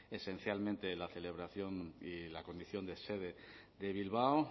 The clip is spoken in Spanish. esencialmente la celebración y la condición de sede de bilbao